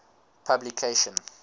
publication